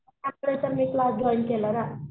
Join केला ना.